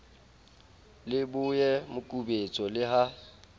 le boye mokubetso le ha